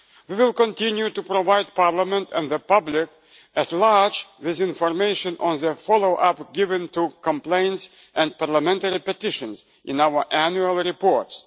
We will continue to provide Parliament and the public at large with information on the follow-up given to complaints and Parliamentary petitions in our annual reports.